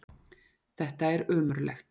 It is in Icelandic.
Þetta er ömurlegt!